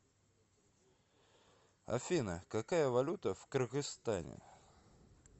афина какая валюта в кыргызстане